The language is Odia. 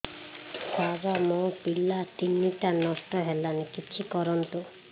ସାର ମୋର ପିଲା ତିନିଟା ନଷ୍ଟ ହେଲାଣି କିଛି କରନ୍ତୁ